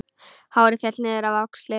Hárið féll niður á axlir.